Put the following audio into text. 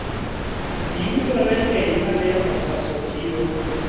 mazao yalikuwa mengi na yakakosa soko